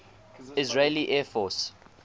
israeli air force